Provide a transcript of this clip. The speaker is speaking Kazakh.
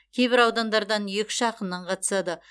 кейбір аудандардан екі үш ақыннан қатысады